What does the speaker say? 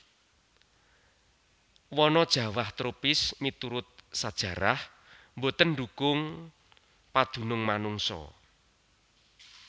Wana jawah tropis miturut sajarah boten ndhukung padunung manungsa